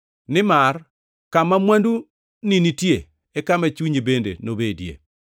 Nimar kama mwanduni nitie e kama chunyi bende nobedie.